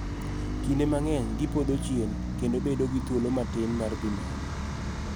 Kinde mang�eny gipodho chien kendo bedo gi thuolo matin mar dhi malo.